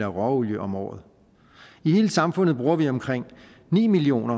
råolie om året i hele samfundet bruger vi omkring ni million